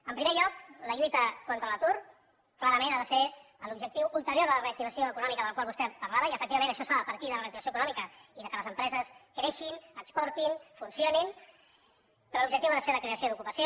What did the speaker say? en primer lloc la lluita contra l’atur clarament ha de ser l’objectiu ulterior a la reactivació econòmica de la qual vostè parlava i efectivament això es fa a partir de la reactivació econòmica i del fet que les empreses creixin exportin funcionin però l’objectiu ha de ser la creació d’ocupació